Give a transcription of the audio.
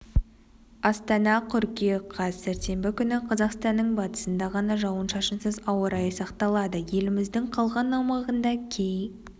астана қыркүйек қаз сәрсенбі күні қазақстанның батысында ғана жауын-шашынсыз ауа райы сақталады еліміздің қалған аумағында кей